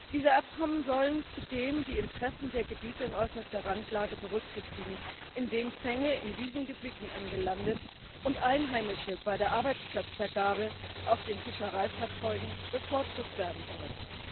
Diese Abkommen sollen zudem die Interessen der Gebiete in äußerster Randlage berücksichtigen, indem Fänge in diesen Gebieten angelandet und Einheimische bei der Arbeitsplatzvergabe auf den Fischereifahrzeugen bevorzugt werden sollen.